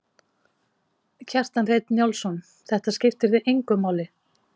Kjartan Hreinn Njálsson: Þetta skiptir þig engu máli?